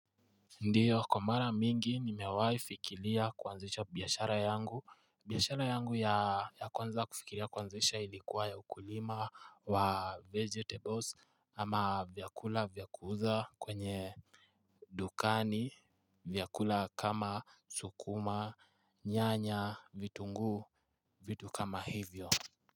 Ndiyo kwa mara mingi nimewaifikiria kuanzisha biashara yangu, biashara yangu ya kwanza kufikiria kuanzisha ilikuwa ya ukulima wa vegetables ama vyakula vya kuuza kwenye dukani, vyakula kama sukuma, nyanya, vitunguu, vitu kama hivyo.